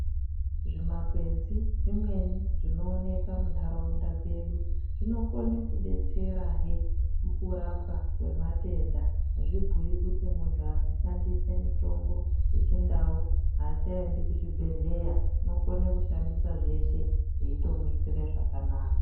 Zvimakwenzi zvimweni zvinooneka muntharaunda dzedu, zvinokone kudetserahe mukurapwa kwematenda. Azvibhuyi kuti munthu akashandisa mitombo yechindau aachaendi kuzvibhedhleya, unokona kushandisa zveshe zveitomuitire zvakanaka.